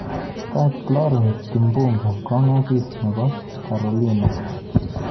Kait Florence Kimbunga Kong asis nebo Carolina.